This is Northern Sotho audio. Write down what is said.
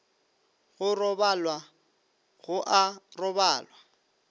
go robalwa go a robalwa